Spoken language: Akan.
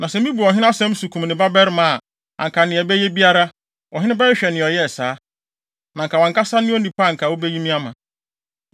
Na sɛ mibu ɔhene asɛm so kum ne babarima a, anka nea ɛbɛyɛ biara, ɔhene bɛhwehwɛ nea ɔyɛɛ saa. Na anka wʼankasa ne onipa a anka wubeyi me ama.”